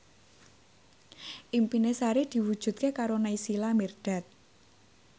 impine Sari diwujudke karo Naysila Mirdad